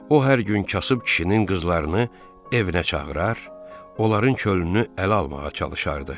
O hər gün kasıb kişinin qızlarını evinə çağırar, onların könlünü ələ almağa çalışardı.